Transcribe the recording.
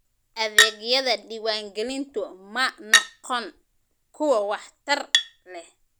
Adeegyada diwaangelintu ma noqon kuwo waxtar leh.